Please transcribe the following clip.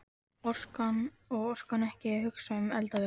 Og orkar ekki að hugsa um eldavélina.